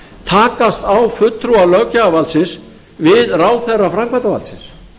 takast á fulltrúar löggjafarvaldsins við ráðherra framkvæmdarvaldsins